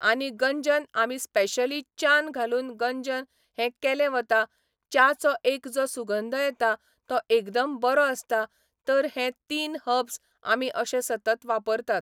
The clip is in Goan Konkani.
आनी गंजन आमी स्पेशली च्यान घालून गंजन हे केलें वता च्याचो एक जो सुगंध येता तो एकदम बरो आसता तर हे तीन हब्स आमी अशे सतत वापरतात